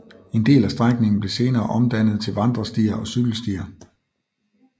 En del af strækningen blev senere omdannet til vandrestier og cykelstier